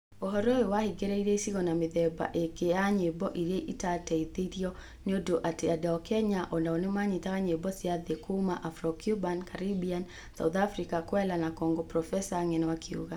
ũhoro ũyũ wahĩngĩrĩrie icigo na mĩthemba ĩngĩ ya nyĩmbo iria itateithirwo nĩ ũndũ atĩ andũ a Kenya o nao nĩ manyitaga nyĩmbo cia thĩ kuuma Afro Cuban, Caribbean, South African, Kwela na Congo, profesa ng'eno akiuga.